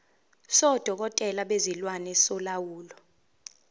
sodokotela bezilwane solawulo